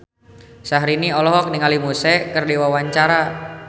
Syahrini olohok ningali Muse keur diwawancara